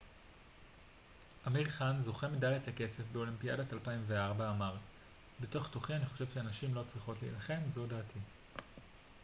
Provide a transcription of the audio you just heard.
אמיר חאן זוכה מדליית הכסף באולימפיאדת 2004 אמר בתוך תוכי אני חושב שנשים לא צריכות להילחם זו דעתי